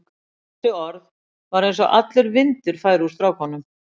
Við þessi orð var eins og allur vindur færi úr strákunum.